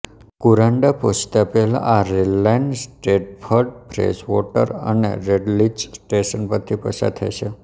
Kuranda પહોંચતા પહેલા આ રેલ લાઈન સ્ટ્રેટ્ફર્ડ ફ્રેશવોટર અને રેડલિંચ સ્ટેશન પરથી પસાર થાય છે